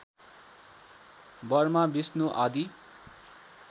Burma Vishnu आदि